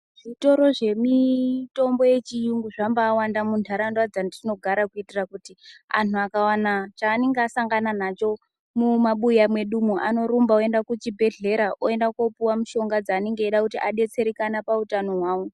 Zvitoro zvemitombo yechiyungu zvambawanda muntaraunda dzatinogara kuitira kuti muntu akavana chaanenge asangana nacho mumabuya mwedumwu. Unorumba voenda kuchibhedhleya oenda kopuva mushonga dzanenge eida kuti adetsereke pautano hwawo.